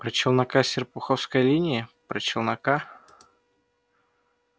про челнока с серпуховской линии про челнока